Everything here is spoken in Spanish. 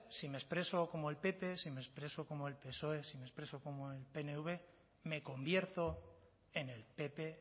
si me expreso como el pp si me expreso como el psoe si me expreso como el pnv me convierto en el pp